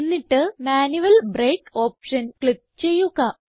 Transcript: എന്നിട്ട് manual break option click ചെയ്യുക